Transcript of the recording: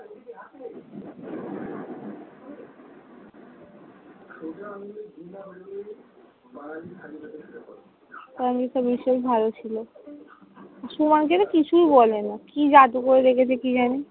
Tanvir sir বিশাল ভালো ছিল। সুমনকে তো কিছুই বলে না, কি জাদু করে রেখেছে কি জানি!